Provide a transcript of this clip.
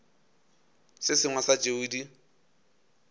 se sengwe sa tšeo di